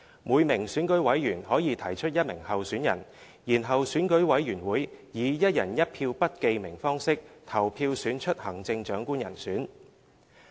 每名選舉委員可提出一名候選人，然後選舉委員會以"一人一票"不記名方式投票選出行政長官人選。